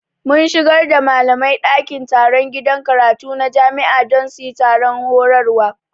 Mun shigar da malamai dakin taron gidan karatu na jami'a don su yi taron horarwa